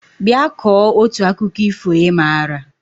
Bịa kọọ otu akụkọ ifo ị maara!